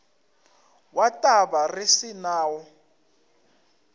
wa taba re se nawo